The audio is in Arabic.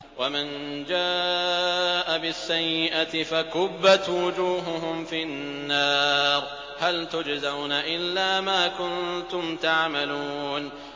وَمَن جَاءَ بِالسَّيِّئَةِ فَكُبَّتْ وُجُوهُهُمْ فِي النَّارِ هَلْ تُجْزَوْنَ إِلَّا مَا كُنتُمْ تَعْمَلُونَ